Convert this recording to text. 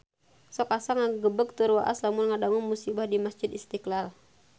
Sok asa ngagebeg tur waas lamun ngadangu musibah di Masjid Istiqlal